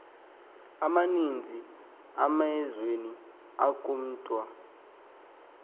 amaninzi emeazweni akuwntya